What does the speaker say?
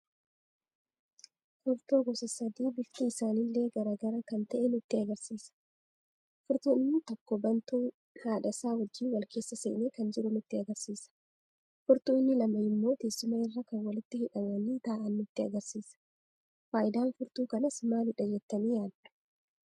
Furtuu gosa sadii bifti isaanille garaagara kan ta'e nutti agarsiisa. Furtuun inni tokko baantu haadhasa wajjiin wal keessa seene kan jiru nutti agarsiisa. Furtuu inni lama immo teessuma irra kan walitti hidhamani taa'aan nutti agarsiisa. Faayidan furtuu kanas maaliidha jettani yaaddu?